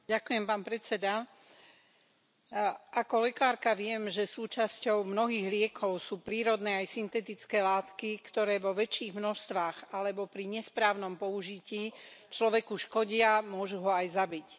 Vážený pán predsedajúci, ako lekárka viem, že súčasťou mnohých liekov sú prírodné aj syntetické látky, ktoré vo väčších množstvách alebo pri nesprávnom použití človeku škodia a môžu ho aj zabiť.